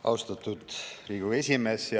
Austatud Riigikogu esimees!